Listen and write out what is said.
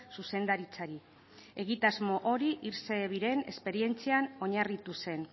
zuzendaritzari egitasmo hori irse ebien esperientzian oinarritu zen